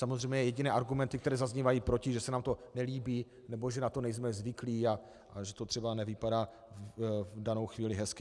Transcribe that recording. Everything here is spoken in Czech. Samozřejmě jediné argumenty, které zaznívají proti, že se nám to nelíbí nebo že na to nejsme zvyklí a že to třeba nevypadá v danou chvíli hezky.